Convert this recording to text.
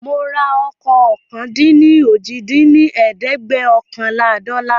Mora ọkọ̀ ọ̀kan-dín-ní-ojì dín ní ẹ̀ẹ́dẹ́gbẹ́ọ̀kànlá dọ́là